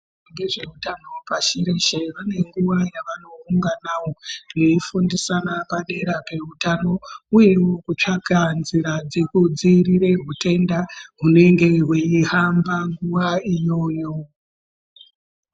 Vezvehutano pashi reshe vane nguwa dzavanounganawo veifundisana padera pehutano uye kutsvaka nzira yekudzivirira hutenda hunenge hweihamba nguwa iyoyo.